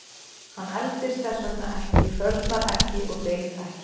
Hann eldist þess vegna ekki, hrörnar ekki og deyr ekki.